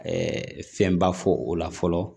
fɛnba fɔ o la fɔlɔ